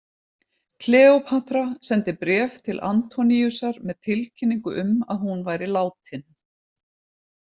Kleópatra sendi bréf til Antoníusar með tilkynningu um að hún væri látin.